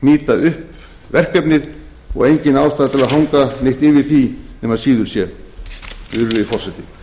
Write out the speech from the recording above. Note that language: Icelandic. hnýta upp verkefnið og engin ástæða til að hanga neitt yfir því nema síður sé virðulegi forseti